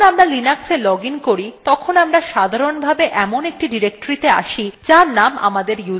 যখন আমরা linuxa login করি তখন আমরা সাধারণভাবে when একটি ডিরেক্টরীতে আসি যার named আমাদের username